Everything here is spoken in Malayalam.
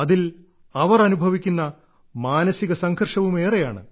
അതിൽ അവർ അനുഭവിക്കുന്ന മാനസിക സംഘർഷവും ഏറെയാണ്